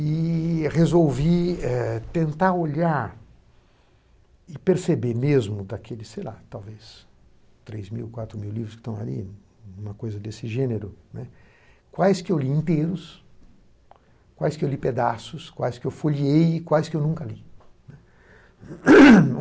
E resolvi eh tentar olhar e perceber mesmo daqueles, sei lá, talvez três mil, quatro mil livros que estão ali, alguma coisa desse gênero, né, quais que eu li inteiros, quais que eu li pedaços, quais que eu foliei e quais que eu nunca li, né.